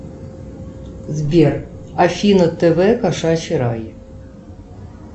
сбер афина тв кошачий рай